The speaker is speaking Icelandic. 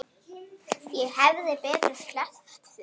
Ég hefði betur sleppt því.